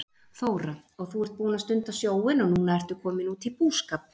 Þóra: Og þú ert búinn að stunda sjóinn og núna ertu kominn út í búskap?